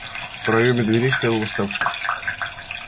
в проёме дверей стоял восставший